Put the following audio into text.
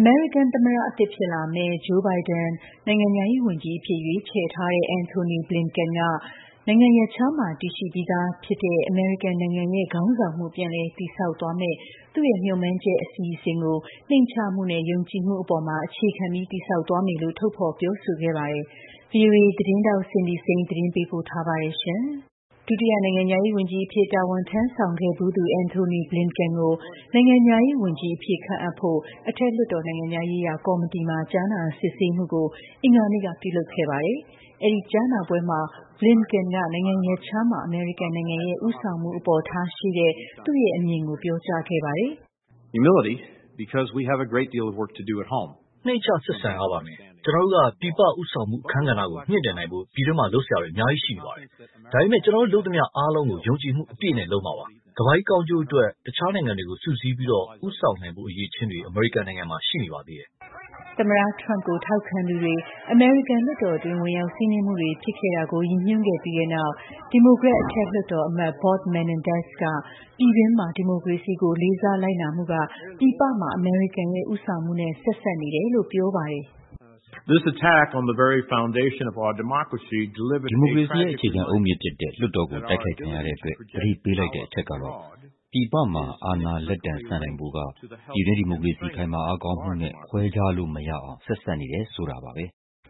အမေရိကန် သမ္မတအသစ်ဖြစ်လာမယ့် Joe Biden နိုင်ငံခြားရေးဝန်ကြီးအဖြစ် ရွေးချယ်ထားတဲ့ Antony Blinken က နိုင်ငံရပ်ခြားမှာ တည်ရှိပြီးသားဖြစ်တဲ့ အမေရိကန်နိုင်ငံရဲ့ ခေါင်းဆောင်မှု ပြန်လည်တည်ဆောက်သွားမယ့် သူ့ရဲ့ မျှော်မှန်းချက် အစီအစဉ်ကို နှိမ့်ချမှုနဲ့ ယုံကြည်မှုအပေါ်မှာ အခြေခံတည်ဆောက်သွားမယ်လို့ ထုတ်ဖော်ပြောဆိုခဲ့ပါတယ်။ VOA သတင်းထောက် Cindy Saine သတင်းပေးပို့ထားပါတယ်ရှင်။ ဒုတိယနိုင်ငံခြားရေး ဝန်ကြီးအဖြစ် တာဝန်ထမ်းဆောင်ခဲ့ဖူးသူ Antony Blinken ကို နိုင်ငံခြားရေး ဝန်ကြီးအဖြစ်ခန့်အပ်ဖို့ အထက်လွှတ်တော် နိုင်ငံခြားရေးရာ ကော်မတီမှာ ကြားနာစစ်ဆေးမှုကို အင်္ဂါနေ့ကပြုလုပ်ခဲ့ပါတယ်။ အဲဒီကြားနာပွဲမှာ Blinken က နိုင်ငံရပ်ခြားမှာ အမေရိကန်နိုင်ငံရဲ့ ဦးဆောင်မှုအပေါ်ထားရှိတဲ့ သူ့ရဲ့ အမြင်ကိုပြောကြားခဲ့ပါတယ်။ "နှိမ့်ချဆက်ဆံရပါမယ်။ ကျနော်တို့က ပြည်ပဦးဆောင်မှု အခန်းကဏ္ဍကို မြှင့်တင်နိုင်ဖို့ ပြည်တွင်းမှာလုပ်စရာတွေ အများကြီး ရှိနေပါတယ်။ ဒါပေမဲ့ ကျနော်တို့ လုပ်သမျှအားလုံးကို ယုံကြည်မှုအပြည့်နဲ့ လုပ်မှာပါ။ ကမ္ဘာကြီး ကောင်းကျိုးအတွက် တခြားနိုင်ငံတွေကို စုစည်းပြီး ဦးဆောင်နိုင်ဖို့ အရည်အချင်းတွေ အမေရိကန်နိုင်ငံမှာ ရှိနေပါသေးတယ်။" သမ္မတ Trump ကို ထောက်ခံသူတွေ အမေရိကန်လွှတ်တော်တွင်း ဝင်ရောက်စီးနင်းမှုတွေဖြစ်ခဲ့တာကို ရည်ညွှန်းခဲ့ပြီးတဲ့နောက်ဒီမိုကရက်အထက် လွှတ်တော်အမတ် Bob Menendez က ပြည်တွင်းမှာ ဒီမိုကရေစီကို လေးစားလိုက်နာမှုက ပြည်ပမှာ အမေရိကန်ရဲ့ဦးဆောင်မှုနဲ့ ဆက်စပ်နေတယ်လို့ပြောပါတယ်။ "ဒီမိုကရေစီရဲ့ အခြေခံအုတ်မြစ်ဖြစ်တဲ့ လွှတ်တော်ကို တိုက်ခိုက်ခံရတဲ့အတွက် သတိပေးလိုက်တဲ့အချက်ကတော့ပြည်ပမှာ အာဏာလက်တံဆန့်နိုင်ဖို့က ပြည်တွင်း ဒီမိုကရေစီ ခိုင်မာအားကောင်းမှုနဲ့ ခွဲခြားလို့ မရအောင်ဆက်စပ်နေတယ်ဆိုတာပါ။"